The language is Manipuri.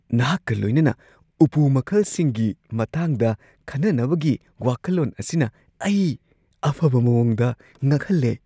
ꯅꯍꯥꯛꯀ ꯂꯣꯏꯅꯅ ꯎꯄꯨ ꯃꯈꯜꯁꯤꯡꯒꯤ ꯃꯇꯥꯡꯗ ꯈꯟꯅꯅꯕꯒꯤ ꯋꯥꯈꯜꯂꯣꯟ ꯑꯁꯤꯅ ꯑꯩ ꯑꯐꯕ ꯃꯑꯣꯡꯗ ꯉꯛꯍꯜꯂꯦ꯫